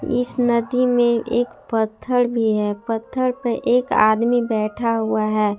इस नदी में एक पत्थर भी हैं पत्थर पे एक आदमी बैठा हुआ हैं।